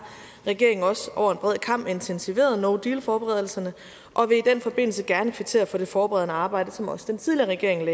regeringen også over en bred kam intensiveret no deal forberedelserne og vil i den forbindelse gerne kvittere for det forberedende arbejde som også den tidligere regering